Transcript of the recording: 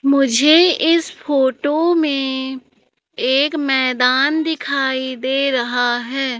मुझे इस फोटो में एक मैदान दिखाई दे रहा है।